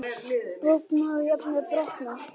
Bogna og jafnvel brotna.